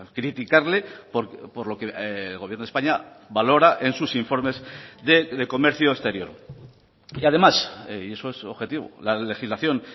criticarle por lo que el gobierno de españa valora en sus informes de comercio exterior y además y eso es objetivo la legislación